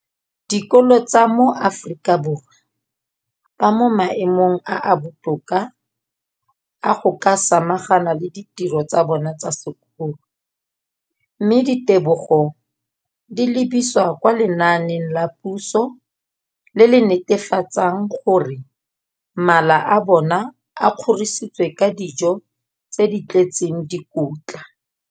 Dikolo tsa puso mo Aforika Borwa ba mo maemong a a botoka a go ka samagana le ditiro tsa bona tsa sekolo, mme ditebogo di lebisiwa kwa lenaaneng la puso le le netefatsang gore mala a bona a kgorisitswe ka dijo tse di tletseng dikotla.